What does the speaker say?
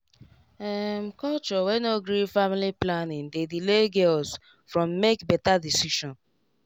um culture wey no gree family planning dey delay girls from make better choice